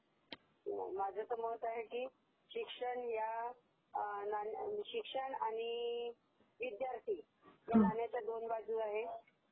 माझ तर मतं आहे की या शिक्षण आणि विद्यार्थी या नाण्याच्या दोन बाजू आहेत